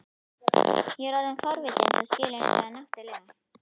Ég er orðinn forvitinn, þú skilur það náttúrlega.